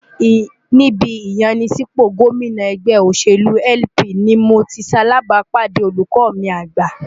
Ní ibi ìyanisípò gómìnà ẹgbẹ́ òṣèlú LP ni mo ti ṣalàbàápàdé olùkọ́ mi àgbà.